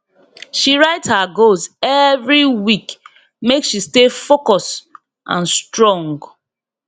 she write her goals every week make she stay focus and strong